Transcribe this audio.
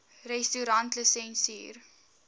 restaurantlisensier